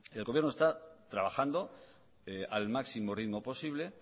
el gobierno está trabajando al máximo ritmo posible